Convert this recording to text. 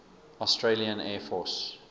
australian air force